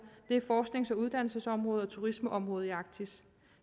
det er forsknings og uddannelsesområdet og turismeområdet i arktis